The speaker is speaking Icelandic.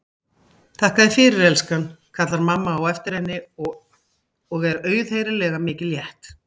Þakka þér fyrir, elskan, kallar mamma á eftir henni og er auðheyrilega mikið létt.